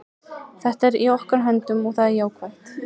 Þetta er í okkar höndum og það er jákvætt.